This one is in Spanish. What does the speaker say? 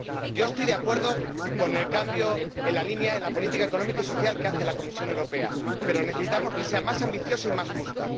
Yo estoy de acuerdo con el cambio en la línea de la política económica y social que hace la Comisión Europea, pero necesitamos que sea más ambiciosa y más justa.